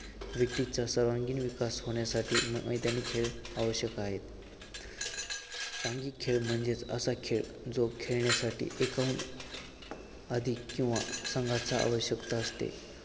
व्यक्तीचा सर्वांगीण विकास होण्यासाठी मैदानी खेळ आवश्यक आहेत. सांघिक खेळ म्हणजे असा खेळ जो खेळण्यासाठी एकाहून अधिक किंवा संघाचा आवश्यकता असते.